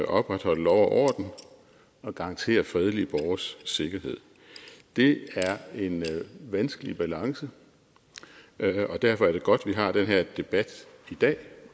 opretholde lov og orden og garantere fredelige borgeres sikkerhed det er en vanskelig balance og derfor er det godt at vi har den her debat i dag